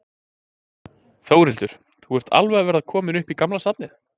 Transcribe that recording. Þórhildur: Þú ert alveg að verða kominn upp í gamla safnið?